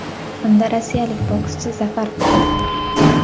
Unda rossiyalik bokschi zafar quchdi.